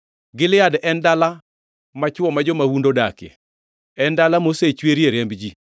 Gilead en dala machwo ma jo-mahundu odakie, en dala mosechwerie remb ji.